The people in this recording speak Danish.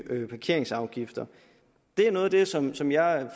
parkeringsafgifter det er noget af det som som jeg